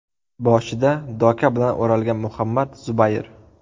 Boshi doka bilan o‘ralgan Muhammad Zubayr.